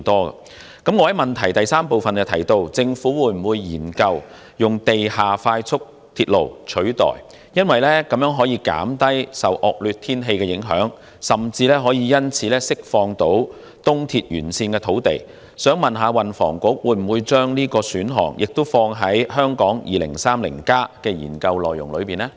我在主體質詢第三部分問政府會否研究以地下快速鐵路取代東鐵線，因為這樣能減低受惡劣天氣的影響，甚至可因此釋放東鐵沿線土地，請問運輸及房屋局會否將這個選項也放在《香港 2030+》的研究範圍呢？